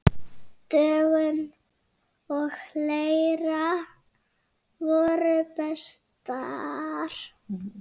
Dögun og Leira voru bestar.